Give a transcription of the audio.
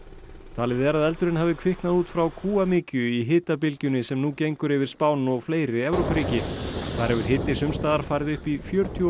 talið er að eldurinn hafi kviknað út frá í hitabylgjunni sem nú gengur yfir Spán og fleiri Evrópuríki þar hefur hiti sums staðar farið upp í fjörutíu og